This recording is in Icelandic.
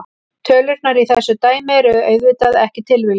Tölurnar í þessu dæmi eru auðvitað ekki tilviljun.